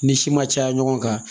Ni si ma caya ɲɔgɔn kan